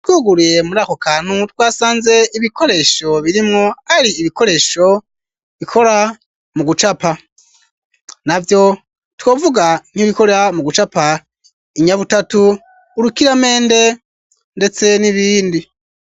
Twuguruye muri ako kantu twasanze ibikoresho birimwo ari ibikoresho bikora mu gucapa navyo twovuga nk'ibikora mu gucapa inyabutatu urukiramende ndetse n'ibindi.